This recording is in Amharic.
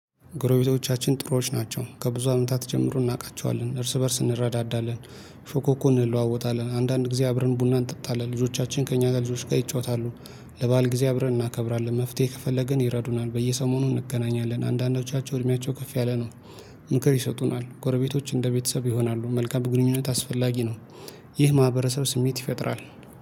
ጎረቤቶቻችን ጥሩዎች ናቸው ከብዙ አመታት ጀምሮ እናውቃቸዋለን እርስ በእርስ እንረዳዳለን። ፎኮኮን እንለዋወጣለን አንዳንድ ጊዜ አብረን ቡና እንጠጣለን ልጆቻችን ከእኛ ጋር ልጆች ጋር ይጫወታሉ። ለባል ጊዜ አብረን እናከብራለን መፍትሄ ከፈለግን ይረዱናል በየሰሞኑ እንገናኛለን አንዳንዶቻቸው እድሜያቸው ከፍ ያለ ነው። ምክር ይሰጡናል ጎረቤቶች እንደ ቤተሰብ ይሆናሉ መልካም ግንኙነት አስፈላጊ ነው። ይህ ማህበረሰብ ስሜት ይፈጥራል